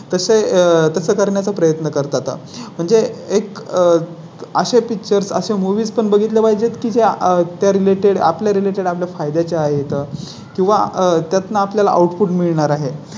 तसे तसं करण्याचा प्रयत्न करतात. म्हणजे एक असे Pictures असे Movies पण बघितले पाहिजेत. किती आह त्या Related आपल्या Related आपल्या फायद्या च्या आहेत किंवा त्यातून आपल्या ला Output मिळणार आहे.